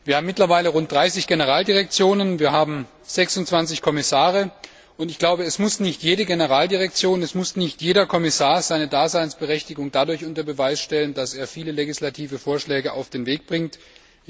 Wir haben mittlerweile rund 30 Generaldirektionen, wir haben 26 Kommissare, und ich glaube, es muss nicht jede Generaldirektion oder jeder Kommissar seine Daseinsberichtigung dadurch unter Beweis stellen, dass viele legislative Vorschläge auf den Weg gebracht werden.